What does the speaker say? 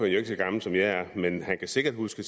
jo ikke så gammel som jeg er men han kan sikkert huske